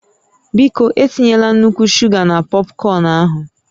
Biko, etinyela nnukwu shuga na pọpkọn ahụ